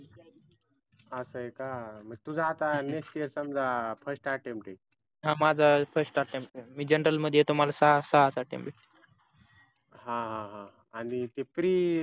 अस आहे का मग तुझ आता next year समजा first attempt आहे हा माझ्या first attempt आहे मी general मध्ये येतो मला सहा सहाच attempt भेटे हा आणि ते pre